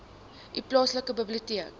u plaaslike biblioteek